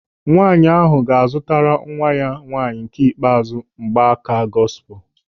Nwaanyị ahụ ga-azụtara nwa ya nwaanyị nke ikpeazụ mgbaaka gọsipul.